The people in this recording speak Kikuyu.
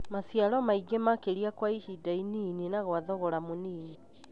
maciaro maingĩ makĩria kwa ihinda inini na kwa thogora mũnini.